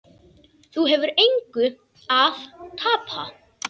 Þú hefur engu að tapa.